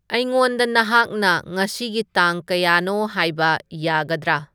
ꯑꯩꯉꯣꯟꯗ ꯅꯍꯥꯛꯅ ꯉꯁꯤꯒꯤ ꯇꯥꯡ ꯀꯌꯥꯅꯣ ꯍꯥꯏꯕ ꯌꯥꯒꯗꯔ